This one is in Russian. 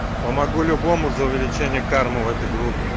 помогу любому за увеличение кармы в этой группе